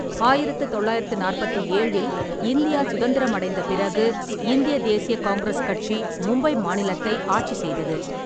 ஆயிரத்து தொள்ளாயிரத்து நாற்பத்தி ஏழில் இந்தியா சுதந்திரமடைந்த பிறகு இந்திய தேசிய காங்கிரஸ் கட்சி மும்பை மாநிலத்தை ஆட்சி செய்தது.